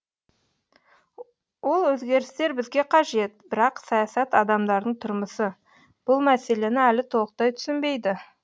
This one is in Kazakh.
ол өзгерістер бізге қажет бірақ саясат адамдардың тұрмысы бұл мәселені әлі толықтай түсінбейді